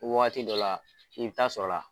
Wagati dɔ la i bi taa sɔrɔla.